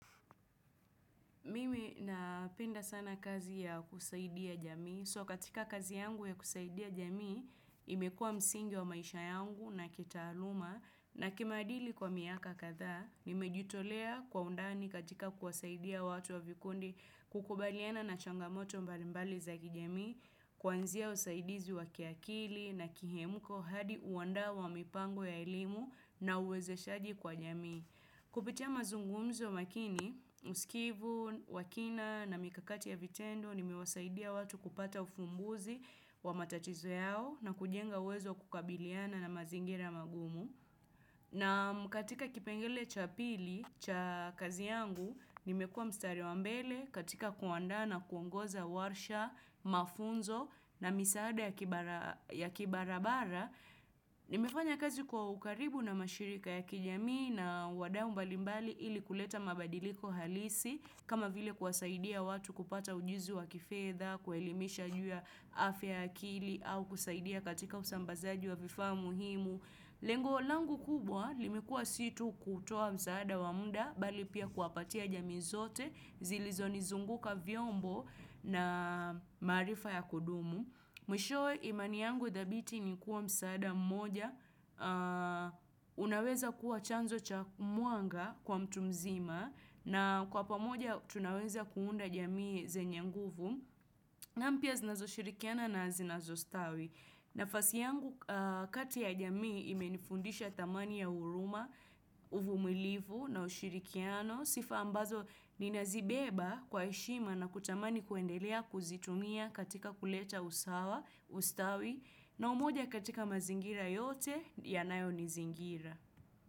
Mimi napenda sana kazi ya kusaidia jamii. So katika kazi yangu ya kusaidia jamii, imekua msingi wa maisha yangu na kitaaluma. Na kimaadili kwa miaka kadha, nimejitolea kwa undani katika kusaidia watu wa vikundi kukubaliana na changamoto mbalimbali za kijamii, kwanzia usaidizi wa kiakili na kihemko hadi uandaa wa mipango ya elimu na uwezeshaji kwa jamii. Kupitia mazungumzo makini, msikivu, wa kina na mikakati ya vitendo, nimewasaidia watu kupata ufumbuzi wa matatizo yao na kujenga uwezo wa kukabiliana na mazingira magumu. Na katika kipengelee cha pili, cha kazi yangu, nimekua mstari wa mbele katika kuanda na kuongoza warsha, mafunzo na misaada ya kibarabara. Nimefanya kazi kwa ukaribu na mashirika ya kijamii na wadau mbalimbali ili kuleta mabadiliko halisi. Kama vile kuwasaidia watu kupata ujuzi wa kifedha, kuwaelimisha juu ya afya ya akili au kusaidia katika usambazaji wa vifaa muhimu. Lengo langu kubwa, limekua si tu kutoa msaada wa muda, bali pia kuwapatia jamii zote, zilizonizunguka vyombo na maarifa ya kudumu. Mwishowe imani yangu dhabiti ni kuwa msaada mmoja, unaweza kuwa chanzo cha mwanga kwa mtu mzima, na kwa pamoja tunaweza kuunda jamii zenye nguvu. Na mpya zinazoshirikiana na zinazo stawi. Nafasi yangu kati ya jamii imenifundisha thamani ya huruma, uvumilivu na ushirikiano. Sifa ambazo ninazibeba kwa heshima na kutamani kuendelea kuzitumia katika kuleta usawa, ustawi. Na umoja katika mazingira yote yanayonizingira.